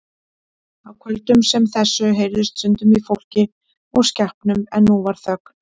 Á kvöldum sem þessu heyrðist stundum í fólki og skepnum en nú var þögn.